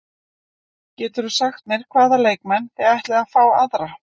Geturðu sagt mér hvaða leikmenn þið ætlið að fá aðra?